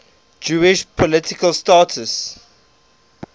jewish political status